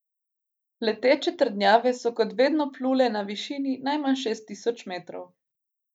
Leteče trdnjave so kot vedno plule na višini najmanj šest tisoč metrov.